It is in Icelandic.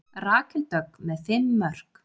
Rakel Dögg með fimm mörk